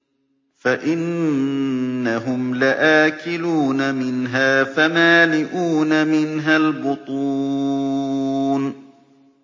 فَإِنَّهُمْ لَآكِلُونَ مِنْهَا فَمَالِئُونَ مِنْهَا الْبُطُونَ